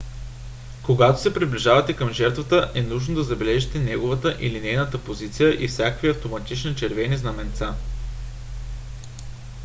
когато се приближавате към жертвата е нужно да забележите неговата или нейната позиция и всякакви автоматични червени знаменца